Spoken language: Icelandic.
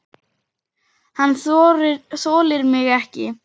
Hann þolir mig ekki.